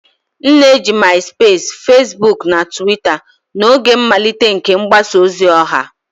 M na-eji MaịSụpeesi, Fesibuukụ na Tụwita n'oge mmalite nke mgbasa ozi ọha.